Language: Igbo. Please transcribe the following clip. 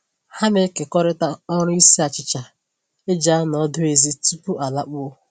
Ha na-ekekọrịta ọrụ isi achịcha e ji anọ ọdụ ezi tupu a lakpuo